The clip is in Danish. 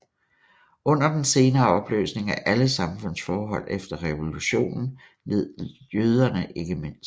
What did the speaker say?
Under den senere opløsning af alle samfundsforhold efter revolutionen led jøderne ikke mindst